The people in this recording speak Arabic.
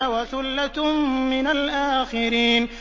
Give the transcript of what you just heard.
وَثُلَّةٌ مِّنَ الْآخِرِينَ